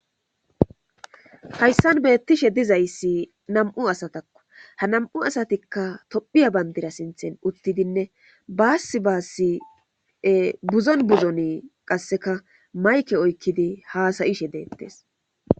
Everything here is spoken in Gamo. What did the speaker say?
hayssan beettishe dizayssi nam7u asatakko ha nam7u asatikka tophiya bandira sinthen uttidinne baasi baassi buzon buzoni qasseka mayke oykkidi haasayishe deettes